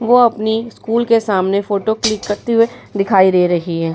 वह अपनी स्कूल के सामने फोटो क्लिक करते हुए दिखाई दे रही है |